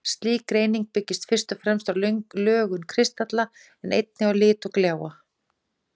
Slík greining byggist fyrst og fremst á lögun kristalla, en einnig á lit og gljáa.